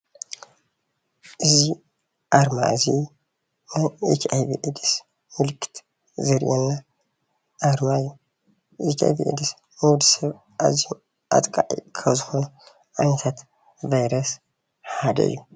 እዚ ኣርማ እዚ ናይ ኤች ኣይቪ ኤድስ ምልክት ዘርእየና ኣርማ እዩ፡፡ ኤች ኣይቪ ኤድስ ንወዲ ሰብ ኣዝዩ ኣጥቃዒ ካብ ዝኮነ ዓይነታት ቫይረስ ሓደ እዩ፡፡